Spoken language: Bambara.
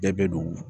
Bɛɛ bɛ don